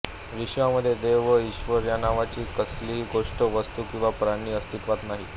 विश्वामध्ये देव वा ईश्वर नावाची कसलीही गोष्ट वस्तू किंवा प्राणी अस्तित्वात नाही